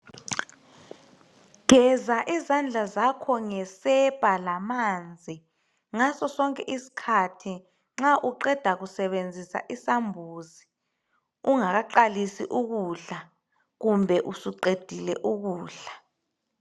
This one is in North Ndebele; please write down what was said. Geza izandla zakho ngesepa lamanzi ngaso sonke isikhathi nxa uqeda kusebenzisa isambuzi, ungakaqalisi ukudla kumbe usuqedile ukudla.